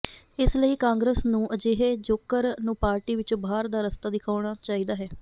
ਇਸ ਲਈ ਕਾਂਗਰਸ ਨੂੰ ਅਜਿਹੇ ਜੋਕਰ ਨੂੰ ਪਾਰਟੀ ਵਿੱਚੋਂ ਬਾਹਰ ਦਾ ਰਸਤਾ ਦਿਖਾਉਣਾ ਚਾਹੀਦਾ ਹੈ